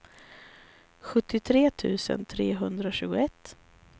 sjuttiotre tusen trehundratjugoett